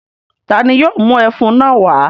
Ta ni yóò mú ẹfun náà wá?